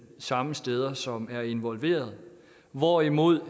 samme steder som er involveret hvorimod